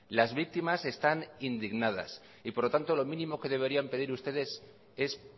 las víctimas están indignadas y por lo tanto lo mínimo que deberían pedir ustedes es